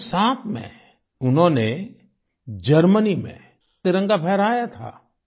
1907 में उन्होंने जर्मनी में तिरंगा फहराया था